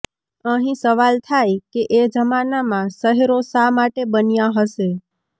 અહીં સવાલ થાય કે એ જમાનામાં શહેરો શા માટે બન્યાં હશે